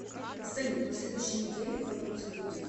салют на следующей неделе в иркутск будет